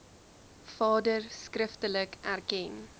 vader skriftelik erken